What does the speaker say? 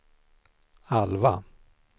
Alva